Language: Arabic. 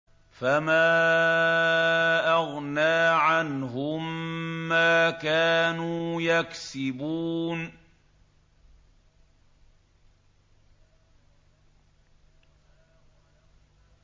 فَمَا أَغْنَىٰ عَنْهُم مَّا كَانُوا يَكْسِبُونَ